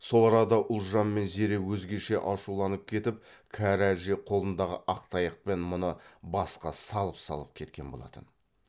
сол арада ұлжан мен зере өзгеше ашуланып кетіп кәрі әже қолындағы ақ таяқпен мұны басқа салып салып кеткен болатын